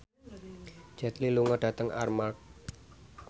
Jet Li lunga dhateng Armargh